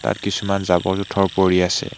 ইয়াত কিছুমান জাৱৰ-জোঁথৰ পৰি আছে।